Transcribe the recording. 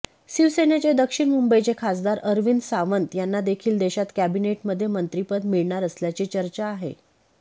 शिवसेनेचे दक्षिण मुंबईचे खासदार अरविंद सावंत यांना देखील देशात कॅबिनेटमध्ये मंत्रीपद मिळणार असल्याची चर्चा आहे